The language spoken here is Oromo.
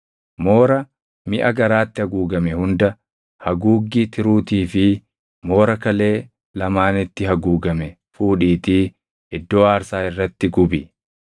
Moora miʼa garaatti haguugame hunda, haguuggii tiruutii fi moora kalee lamaanitti haguugame fuudhiitii iddoo aarsaa irratti gubi.